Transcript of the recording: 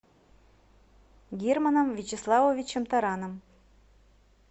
германом вячеславовичем тараном